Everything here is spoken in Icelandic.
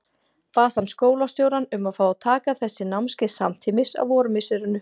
Bað hann skólastjórann um að fá að taka þessi námskeið samtímis á vormisserinu.